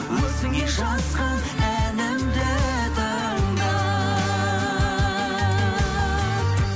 өзіңе жазған әнімді тыңда